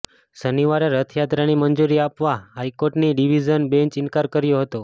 શનિવારે રથયાત્રાની મંજૂરી આપવા હાઈકોર્ટની ડિવિઝન બેંચે ઇનકાર કર્યો હતો